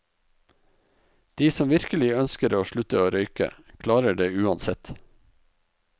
De som virkelig ønsker å slutte å røyke, klarer det uansett.